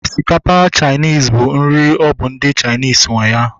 Osikapa Chainis bụ nri ọ bụ ndị Chainis nwe ya